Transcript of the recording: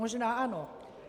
Možná ano.